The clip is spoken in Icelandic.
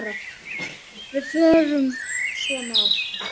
Þá förum við svona að